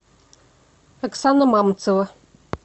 оксана мамцева